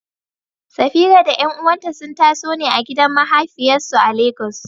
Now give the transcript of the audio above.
Safira da ƴan’uwanta sun taso ne a gidan mahafiyarsu a Legas.